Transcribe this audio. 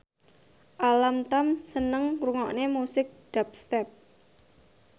Alam Tam seneng ngrungokne musik dubstep